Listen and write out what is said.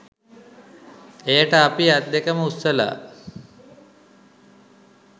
එයට අපි අත්දෙකම උස්සලා